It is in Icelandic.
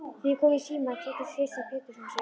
Þegar ég kom í símann kynnti Kristján Pétursson sig.